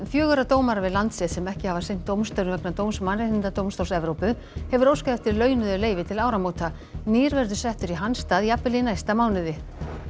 fjögurra dómara við Landsrétt sem ekki hafa sinnt dómstörfum vegna dóms Mannréttindadómstóls Evrópu hefur óskað eftir launuðu leyfi til áramóta nýr verður settur í hans stað jafnvel í næsta mánuði